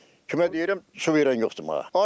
Kimə deyirəm, su verən yoxdur mana.